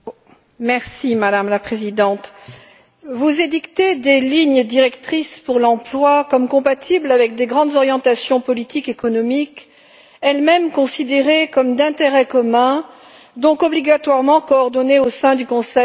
Madame la Présidente, vous édictez des lignes directrices pour l'emploi prétendument compatibles avec des grandes orientations politiques et économiques, elles mêmes considérées comme d'intérêt commun, donc obligatoirement coordonnées au sein du Conseil de l'Europe.